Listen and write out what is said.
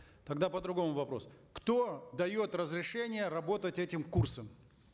тогда по другому вопрос кто дает разрешение работать этим курсам